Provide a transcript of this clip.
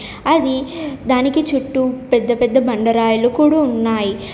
అది దానికి చుట్టూ పెద్దపెద్ద బండరాయిలు కూడు ఉన్నాయి.